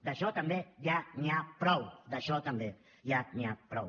d’això també ja n’hi ha prou d’això també ja n’hi ha prou